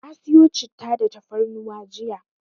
Na siyo Citta da tafarnuwa jiya.